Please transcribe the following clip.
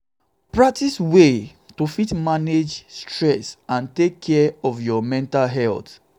practice ways to fit um manage stress and take care um of your mental health um